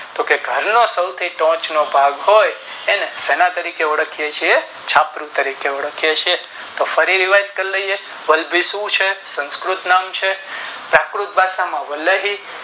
તો કે ઘરની ફરતે ભાગ હોય એને સેનાએ તરીકે ઓળખીએ છીએ છાપરું તરીકે ઓળખીયે છીએ તો ફરી યાદ કરી લઈએ વલ્લભી શું છે સંસ્કૃત નામ છે પ્રાકૃતભાષા માં વલભી